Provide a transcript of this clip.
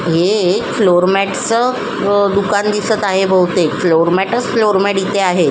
हे एक फ्लोरमॅट च दुकान दिसत आहे बहुतेक फ्लोरमॅटच फ्लोरमॅट इथे आहे.